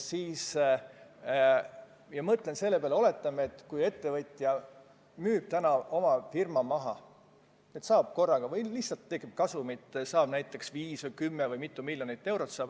Oletame, et ettevõtja müüb oma firma maha või tal lihtsalt tekib korraga suur kasum, näiteks 5 või 10 miljonit eurot.